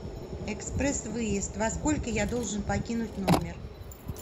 экспресс выезд во сколько я должен покинуть номер